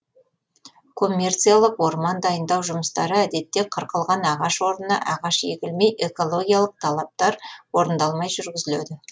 коммерциялық орман дайындау жұмыстары әдетте қырқылған ағаш орнына ағаш егілмей экологиялық талаптар орындалмай жүргізіледі